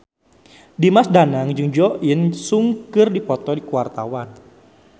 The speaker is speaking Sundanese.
Dimas Danang jeung Jo In Sung keur dipoto ku wartawan